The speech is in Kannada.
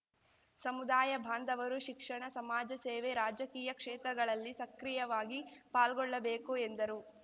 ಸಮುದಾಯ ಬಾಂಧವರು ಶಿಕ್ಷಣ ಸಮಾಜಸೇವೆ ರಾಜಕೀಯ ಕ್ಷೇತ್ರಗಳಲ್ಲಿ ಸಕ್ರಿಯವಾಗಿ ಪಾಲ್ಗೊಳ್ಳಬೇಕು ಎಂದರು